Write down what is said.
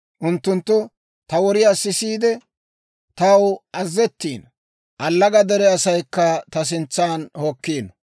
Unttunttu ta woriyaa sisiide, taw azazettiino; allaga dere asaykka ta sintsan hokkiino.